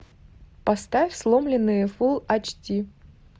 поставь сломленные фулл айч ди